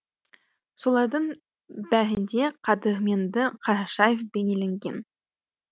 солардың бәрінде қадірменді қарашаев бейнеленген